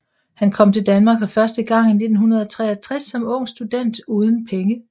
Han kom til Danmark for første gang i 1963 som ung student uden penge